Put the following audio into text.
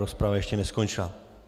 Rozprava ještě neskončila.